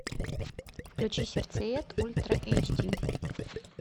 включи сердцеед ультра эйч ди